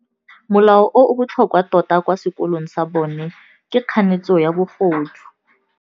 Molao o o botlhokwa tota kwa sekolong sa bone ke kganetsô ya bogodu.